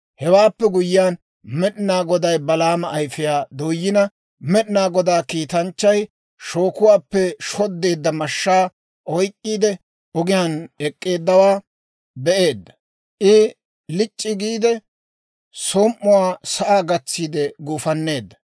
Hewaappe guyyiyaan, Med'inaa Goday Balaama ayfiyaa dooyina, Med'inaa Godaa kiitanchchay shookuwaappe shoddeedda mashshaa oyk'k'iide, ogiyaan ek'k'eeddawaa be'eedda. I lic'c'i giide, som"uwaa sa'aa gatsiide guufanneedda.